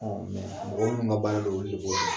mɔgɔw munnu ka baara do olu de bo